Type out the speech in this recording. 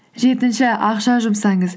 жетінші ақша жұмсаңыз